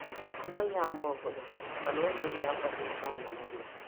Ọ naghị ama ọ̀gọ̀dọ̀ mana ọ na-eyi ákwà dị mfé anọ n'ulọ